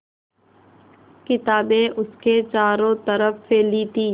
किताबें उसके चारों तरफ़ फैली थीं